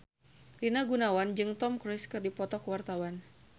Rina Gunawan jeung Tom Cruise keur dipoto ku wartawan